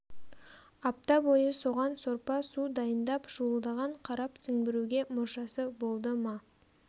апта бойы соған сорпа-су дайындап шуылдаған қарап сіңбіруге мұршасы болды ма